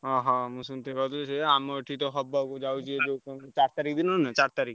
ଓହୋ। ମୁଁ ସେମତି ଆମର ବି ସେଇଆ ଆମର ଏଠି ତ ହବାକୁ ଯାଉଛି ଯୋଉ ଚାରି ତାରିଖ ଦିନନୁହଁ ଚାରିତାରିଖ।